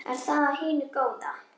Er það af hinu góða?